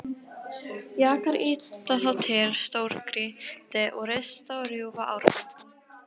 Jakar ýta þá til stórgrýti og rista og rjúfa árbakka.